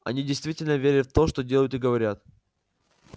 они действительно верят в то что делают и говорят